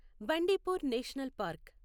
Bandipur national park